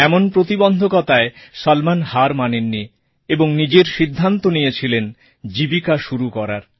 এমন প্রতিবন্ধকতায় সলমন হার মানেননি এবং নিজেই সিদ্ধান্ত নিয়েছিলেন জীবিকা শুরু করার